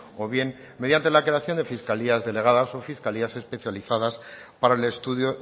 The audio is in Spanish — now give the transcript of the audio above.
o bien mediante la creación de fiscalías delegadas o fiscalías especializadas para el estudio